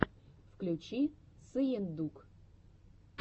включи сыендук